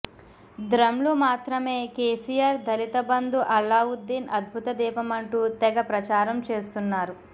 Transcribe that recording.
ద్రం లు మాత్రమే కేసీఆర్ దళిత బంధు అల్లావుద్దీన్ అద్భుత దీపమంటూ తెగ ప్రచారం చేస్తున్నారు